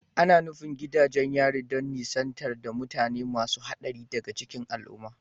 Ana nufin gidajen yari don nisantar da mutane masu haɗari daga cikin al'umma